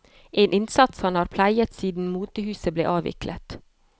En innsats han har pleiet siden motehuset ble avviklet.